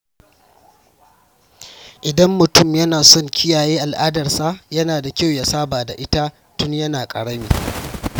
Idan mutum yana son kiyaye al’adarsa, yana da kyau ya saba da ita tun yana ƙarami.